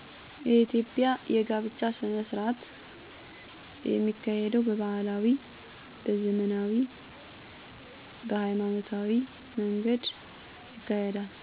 የኢትዮጵያ የጋብቻ ሥነሥርዓት የሚካሄደው በባህላዊ፣ በዘመናዊ፣ በሀይማኖታዊ መንገድ ይካሄዳል